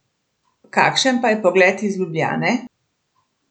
Kakšen pa je pogled iz Ljubljane?